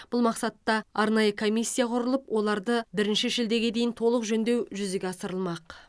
бұл мақсатта арнайы комиссия құрылып оларды бірінші шілдеге дейін толық жөндеу жүзеге асырылмақ